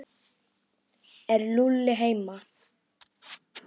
Er Lúlli heima?